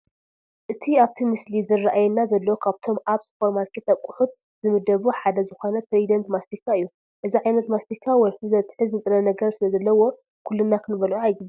እቲ ኣብቲ ምስሊ ዝራኣየና ዘሎ ካብቶም ኣብ ሱፐርማርኬት ኣቕሑት ዝምደቡ ሓደ ዝኾነ ትሪደንት ማስቲካ እዩ፡፡ እዚ ዓይነት ማስቲካ ወልፊ ዘትሕዝ ንጥረ ነገር ስለዘለዎ ኩልና ክንበልዖ ኣይግባእን፡፡